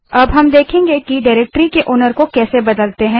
अब हम देखेंगे कि डाइरेक्टरी के मालिकओनर को कैसे बदलते हैं